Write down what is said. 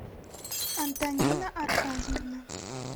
антонина аркадьевна